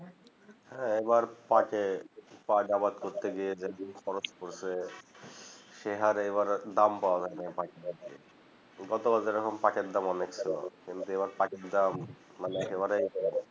হ্যাঁ এবার পাঁট এ আবাদ করতে গিয়ে দেখি খরচ পড়ছে সে হারে এবার দাম পাও নাই গত বার যেরকম পাঁট অনেক ছিল কিন্তু আবার পাঁট দাম মানে এবারে